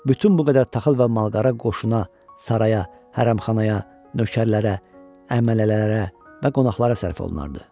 Bütün bu qədər taxıl və malqara qoşuna, saraya, hərəmxanaya, nökərlərə, əmələlərə və qonaqlara sərf olunardı.